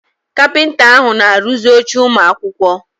Kapịnta ahụ na-arụzi oche ụmụ akwụkwọ.